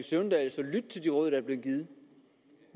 søvndal så lytte til de råd der bliver givet